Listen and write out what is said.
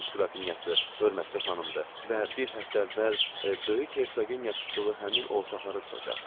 Rus qrafinyası, hörmətli xanımdır və bir həftə əvvəl böyük hersogeyə tutduğu həmin otaqları tutacaq.